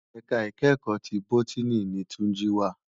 Èká ikèékò ti bótìní ni Tunji wá